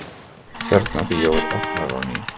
Tjarnarbíó opnað á ný